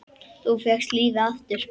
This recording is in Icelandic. Þú fékkst lífið aftur.